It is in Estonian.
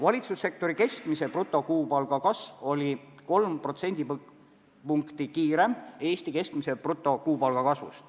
Valitsussektori keskmise brutokuupalga kasv oli 3% suurem kui Eesti keskmise brutokuupalga kasv.